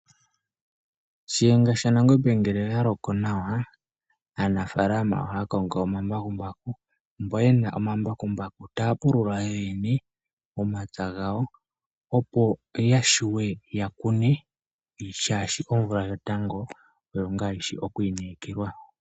Shiyenga shanangombe ngele aloko nawa aanafalama oha kongo omambakumbaku , mbo yena omambakumbaku taya pulula yoyene momapya ngawo opo yashuwe yakune shashi omvula yotango oyo nga yishi okwinekelwa.